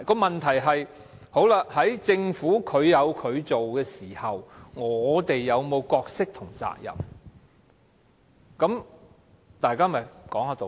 問題是，在政府調查的時候，立法會有否任何角色及責任？